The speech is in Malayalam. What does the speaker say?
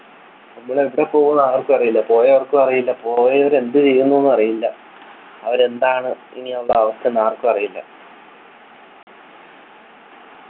നമ്മൾ എവിടെ പോവൂ ആർക്കും അറിയില്ല പോയവർക്ക് അറിയില്ല പോയവർ എന്തു ചെയ്യുന്നു ന്നും എന്നറിയില്ല അവർ എന്താണ് ഇനി ഉള്ള അവസ്ഥ എന്ന് ആർക്കു അറിയില്ല